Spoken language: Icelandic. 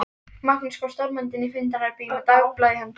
Magnús kom stormandi inn í fundarherbergið með dagblað í höndunum.